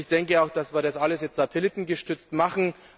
Ich denke auch, dass wir das alles jetzt satellitengestützt machen.